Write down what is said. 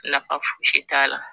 nafa foyi t'a la